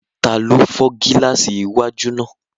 Taló fọ́ gílààsì iwájú náà?